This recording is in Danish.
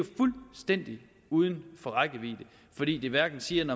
fuldstændig uden for rækkevidde fordi det hverken siger